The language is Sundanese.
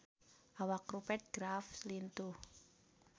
Awak Rupert Graves lintuh